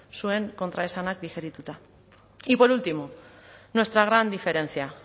zuen kontraesanak digerituta y por último nuestra gran diferencia